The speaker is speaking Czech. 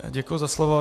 Děkuji za slovo.